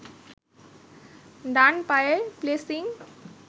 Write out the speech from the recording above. ডান পায়ের প্লেসিং